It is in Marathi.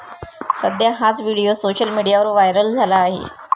सध्या हाच व्हिडिओ सोशल मीडियावर व्हायरल झाला आहे.